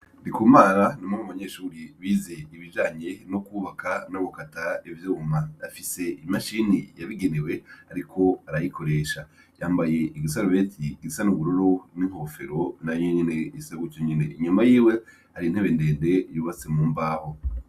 Ndikumara ni umwe mu banyeshuri bize ibijanye no kwubaka no gukata ivyuma. Afise imashini yabigenewe, ariko arayikoresha. Yambaye isarubeti isa n'ubururu, n'inkofero nayo nyene isa gutyo nyene. Inyuma yiwe hari intebe ndende yubatse mu mbaho.